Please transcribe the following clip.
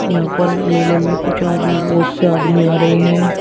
यहां पर मेले में कुछ आदमी बहुत से आदमी आ रहे हैं।